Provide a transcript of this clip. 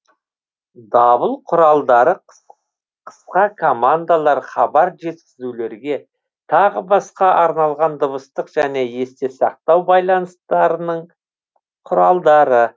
дабыл құралдары қысқа командалар хабар жеткізулерге тағы басқа арналған дыбыстық және есте сақтау байланыстарының құралдары